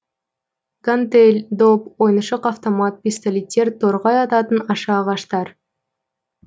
гантель доп ойыншық автомат пистолеттер торғай ататын аша ағаштар